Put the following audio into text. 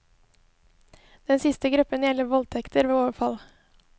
Den siste gruppen gjelder voldtekter ved overfall.